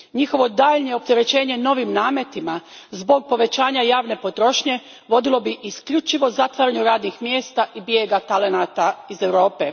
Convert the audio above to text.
Njihovo daljnje opterećenje novim nametima zbog povećanja javne potrošnje vodilo bi isključivo zatvaranju radnih mjesta i bijegu talenta iz Europe.